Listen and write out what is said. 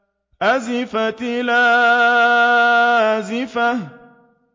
أَزِفَتِ الْآزِفَةُ